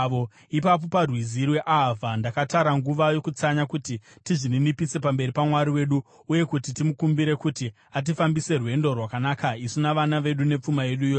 Ipapo, paRwizi rweAhavha, ndakatara nguva yokutsanya kuti tizvininipise pamberi paMwari wedu uye kuti timukumbire kuti atifambise rwendo rwakanaka isu navana vedu nepfuma yedu yose.